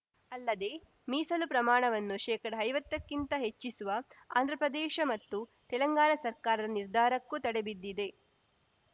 ಅಲ್ಲದೆ ಮೀಸಲು ಪ್ರಮಾಣವನ್ನು ಶೇಕಡಐವತ್ತಕ್ಕಿಂತ ಹೆಚ್ಚಿಸುವ ಆಂಧ್ರಪ್ರದೇಶ ಮತ್ತು ತೆಲಂಗಾಣ ಸರ್ಕಾರ ನಿರ್ಧಾರಕ್ಕೂ ತಡೆಬಿದ್ದಿದೆ